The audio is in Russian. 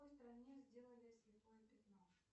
в какой стране сделали слепое пятно